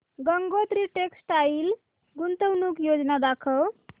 Gangotri textile गुंतवणूक योजना दाखव